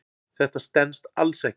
Þetta stenst alls ekki.